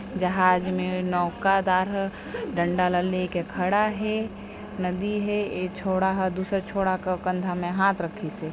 जहाज मे नौकदार ह डंडा ला लेके खड़ा हे नदी हे एक छोड़ा ह दूसरा छोड़ा के कंधा मे हाथ रखिसे ।